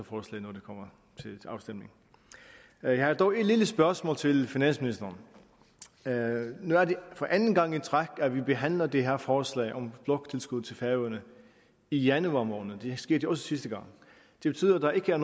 kommer til afstemning jeg har dog et lille spørgsmål til finansministeren nu er det anden gang i træk at vi behandler det her forslag om bloktilskud til færøerne i januar måned det skete også sidste gang det betyder at der ikke er